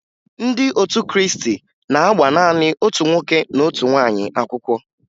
Ndị otu Krịịstị na-agba naanị otu nwoke na otu nwaanyị akwụkwọ